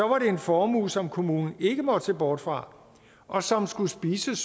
det en formue som kommunen ikke måtte se bort fra og som skulle spises